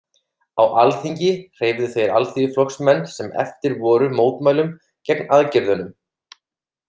Á Alþingi hreyfðu þeir Alþýðuflokksmenn sem eftir voru mótmælum gegn aðgerðunum.